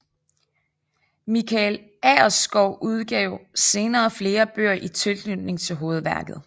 Michael Agerskov udgav senere flere bøger i tilknytning til hovedværket